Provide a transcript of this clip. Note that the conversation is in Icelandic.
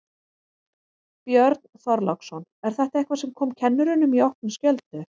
Björn Þorláksson: Er þetta eitthvað sem kom kennurum í opna skjöldu?